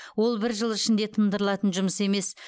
ол бір жыл ішінде тыңдырылатын жұмыс емес